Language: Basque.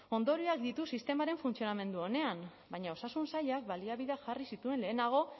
ondorioak ditu sistemaren funtzionamendu onean baina osasun sailak baliabideak jarri zituen lehenago